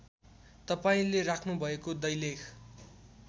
तपाईँले राख्नुभएको दैलेख